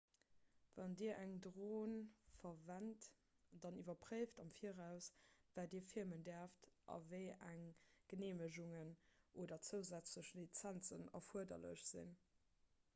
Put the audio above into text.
wann dir eng dron verwent dann iwwerpréift am viraus wat dir filmen däerft a wéi eng geneemegungen oder zousätzlech lizenzen erfuerderlech sinn